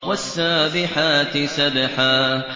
وَالسَّابِحَاتِ سَبْحًا